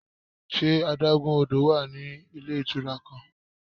Ṣe adagun odo wa ni ile itura kan?